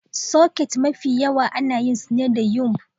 Soket Mafi yawa ana yin su ne da yumbm